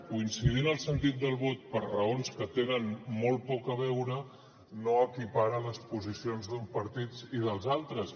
coincidint el sentit del vot per raons que tenen molt poc a veure no equiparar les posicions d’uns partits i dels altres